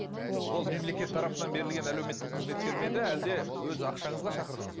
мен ол мемлекет тарапынан берілген әлеуметтік қызметкер ме еді әлде өз ақшаңызға шақырдыңыз ба